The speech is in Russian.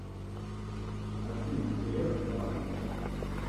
афина греф банк